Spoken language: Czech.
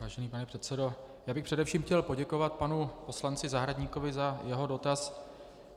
Vážený pane předsedo, já bych především chtěl poděkovat panu poslanci Zahradníkovi za jeho dotaz.